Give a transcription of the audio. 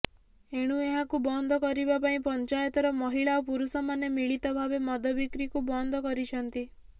ଏଣୁ ଏହାକୁ ବନ୍ଦ କରିବା ପାଇଁ ପଂଚାୟତର ମହିଳା ଓ ପୁରୁଷମାନେ ମିଳିତ ଭାବେ ମଦବିକ୍ରିକୁ ବନ୍ଦ କରିଛନ୍ତି